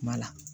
Kuma la